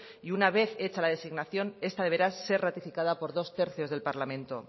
y una vez hecha la designación esta deberá ser ratificada por dos tercios del parlamento